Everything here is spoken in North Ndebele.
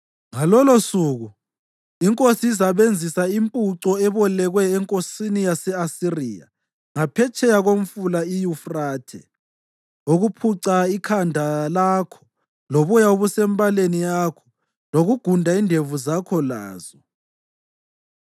Ngalolosuku iNkosi izasebenzisa impuco ebolekwe enkosini yase-Asiriya ngaphetsheya koMfula iYufrathe ukuphuca ikhanda lakho loboya obusembaleni yakho, lokugunda indevu zakho lazo.